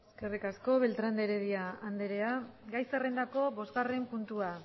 eskerrik asko beltrán de heredia andrea gai zerrendako bosgarren puntua